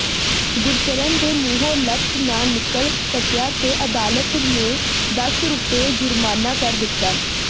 ਗੁਰਚਰਨ ਦੇ ਮੂੰਹੋ ਲਫਜ਼ ਨ ਨਿਕਲ ਸਕਿਆ ਤੇ ਅਦਾਲਤ ਨੇ ਦਸ ਰੁਪਏ ਜੁਰਮਾਨਾ ਕਰ ਦਿਤਾ